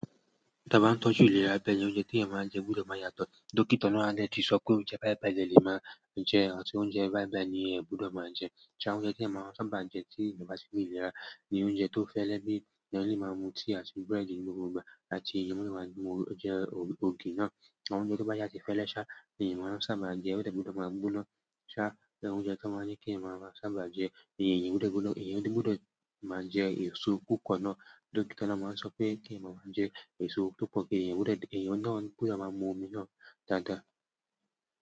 Ta bá n tọ́jú ìlera bẹ́ẹ̀ ni oúnjẹ tí yan máa n jẹ gbúdọ̀ máa yàtọ̀. Dókítà náà adẹti sọ pé oúnjẹ bàìbàìlẹ lè máa jẹ atí oúnjẹ bàìbàì ni ẹ̀ gbúdọ̀ máa jẹ. Ṣá oúnjẹ tí èyán máa sábà jẹ tí ìjọba ti fi ìlera ní oúnjẹ tó fẹ́lẹ́ bí ẹ ní lè máa mu tíì àti búrẹ́dì ní gbogbo ìgbà àti ìyẹn ó lè máa jẹ ògì náà. Àwọn oúnjẹ tó bá yà sí fẹ́lẹ́ ṣá iyán máa sábà jẹ ẹ gbúdọ̀ máa gbóná ṣá. Ṣé oúnjẹ tí wọ́n máa n ní kí iyán máa sábà jẹ ìyẹn gbúdọ̀ gbóná, ìyẹn gbúdọ̀ máa jẹ èso púpọ̀ náà. Dókítà náà máa n sọ pé kí eyan máa jẹ èso tó pọ̀ kí eyan gbúdọ̀ èyán náà gbúdọ̀ máa mu omi náà dáadáa.